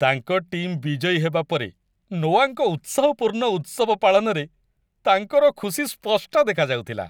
ତାଙ୍କ ଟିମ୍ ବିଜୟୀ ହେବା ପରେ ନୋଆଙ୍କ ଉତ୍ସାହପୂର୍ଣ୍ଣ ଉତ୍ସବ ପାଳନରେ ତାଙ୍କର ଖୁସି ସ୍ପଷ୍ଟ ଦେଖାଯାଉଥିଲା।